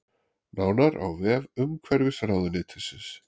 Nánar á vef umhverfisráðuneytisins